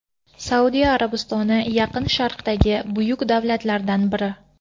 Saudiya Arabistoni Yaqin Sharqdagi buyuk davlatlardan biri.